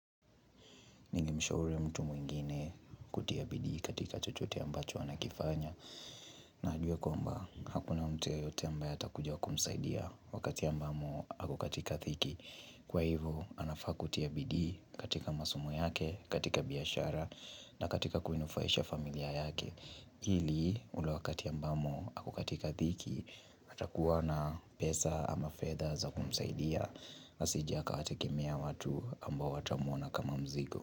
Nilimshauri mtu mwingine kutia bidii katika chochote ambacho anakifanya na ajue kwamba hakuna mtu yeyote ambaye atakuja kumsaidia wakati ambamo akokatika thiki Kwa hivyo anafaa kutia bidii katika masomo yake, katika biashara na katika kuinufaisha familia yake Hili ule wakati ambamo akokatika thiki atakuwa na pesa ama fedha zakumsaidia asije akawategemea watu ambao watamona kama mzigo.